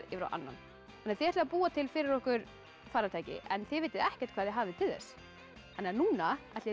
yfir á annan þið ætlið að búa til fyrir okkur farartæki en þið vitið ekkert hvað þið hafið til þess þannig að núna ætla ég